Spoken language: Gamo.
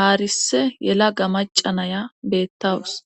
aarise yelaga macca naya beettawus.